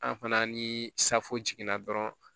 An fana ni safu jiginna dɔrɔn